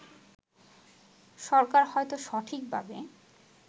সরকার হয়তো সঠিকভাবে